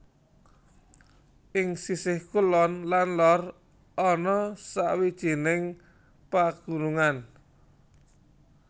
Ing sisih kulon lan lor ana sawijining pagunungan